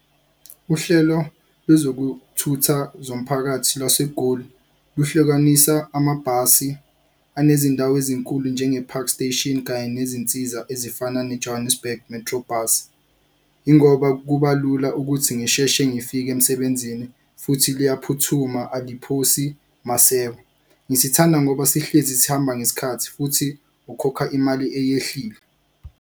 Uhlelo lwezokuthutha zomphakathi lwaseGoli luhlukanisa amabhasi anezindawo ezinkulu njenge-Park Station, kanye nezinsiza ezifana ne-Johannesburg Metrobus. Yingoba kuba lula ukuthi ngisheshe ngifike emsebenzini futhi liyaphuthuma, aliphosi maseko. Ngisithanda ngoba sihlezi sihamba ngesikhathi futhi ukhokha imali eyehlile.